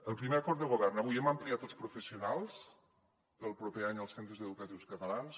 el primer acord de govern avui hem ampliat els professionals per al proper any als centres educatius catalans